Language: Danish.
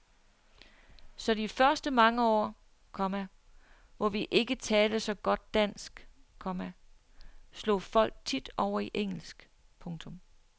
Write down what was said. Så de første mange år, komma hvor vi ikke talte så godt dansk, komma slog folk tit over i engelsk. punktum